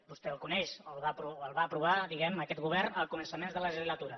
vostè el coneix el va aprovar diguem ne aquest govern a començaments de la legislatura